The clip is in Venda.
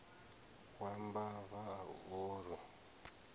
wa mbava a u orwi